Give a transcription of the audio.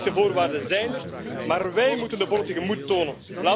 De economische voorwaarden zijn er, maar wij moeten de politieke moed tonen.